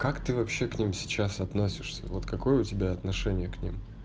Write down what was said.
как ты вообще к ним сейчас относишься вот какое у тебя отношение к ним